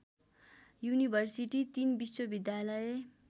university तीन विश्वविद्यालय